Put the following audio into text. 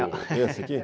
aqui